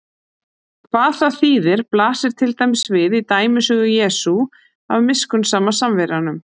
Hvað það þýðir blasir til dæmis við í dæmisögu Jesú af miskunnsama Samverjanum.